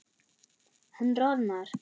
Hann roðnar.